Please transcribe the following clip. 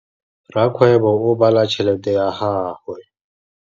Rakgwêbô o bala tšheletê ya gagwe.